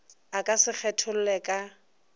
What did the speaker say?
a ka se kgetholle ka